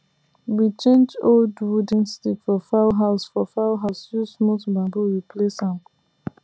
we change old wooden stick for fowl house for fowl house use smooth bamboo replace am